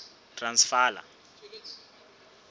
transvala